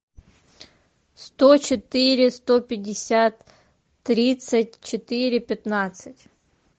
сто четыре сто пятьдесят тридцать четыре пятнадцать